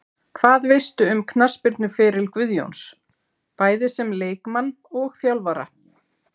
Hvað veistu um knattspyrnuferil Guðjóns, bæði sem leikmann og þjálfara?